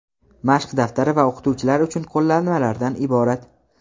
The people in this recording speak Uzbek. mashq daftari va o‘qituvchilar uchun qo‘llanmalardan iborat.